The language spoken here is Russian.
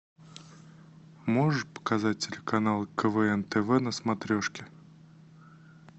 можешь показать телеканал квн тв на смотрешке